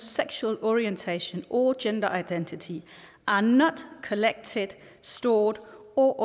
sexual orientation or gender identity are not collected stored or